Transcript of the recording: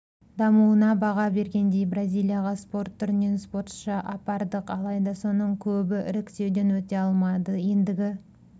дамуына баға бергендей бразилияға спорт түрінен спортшы апардық алайда соның көбі іріктеуден өте алмады ендігі